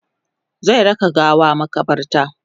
zai raka gawan makabarta